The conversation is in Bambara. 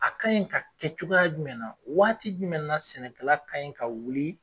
A ka in ka kɛ cogoya jumɛn na ? Waati jumɛn na sɛnɛkala ka in ka wuli